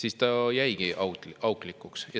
See jäigi auklikuks.